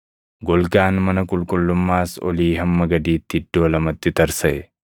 Golgaan mana qulqullummaas olii hamma gadiitti iddoo lamatti tarsaʼe.